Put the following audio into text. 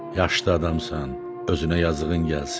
Yaşlı adamsan, özünə yazığın gəlsin.